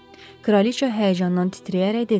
Kraliçə həyəcandan titrəyərək dedi.